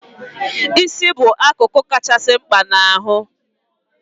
Isi bụ akụkụ kachasị mkpa n' ahụ